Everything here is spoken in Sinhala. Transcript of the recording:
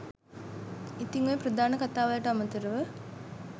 ඉතිං ඔය ප්‍රධාන කථා වලට අමතරව